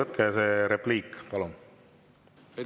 Tehke see repliik, palun!